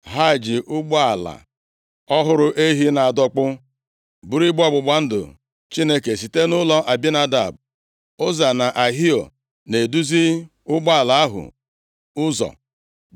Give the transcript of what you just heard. Ha ji ụgbọala ọhụrụ ehi na-adọkpụ buru igbe ọgbụgba ndụ Chineke site nʼụlọ Abinadab, Ụza na Ahio na-eduzi ụgbọala ahụ ụzọ.